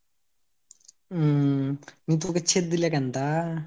উম নি তুকে ছেদ দিলে কেনতা?